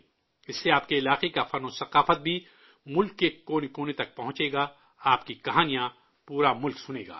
اس سے آپ کے علاقے کا فن اور ثقافت بھی ملک کے کونے کونے تک پہنچے گا، آپ کی کہانیاں پورا ملک سنے گا